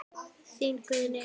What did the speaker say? Þín Guðný Eik.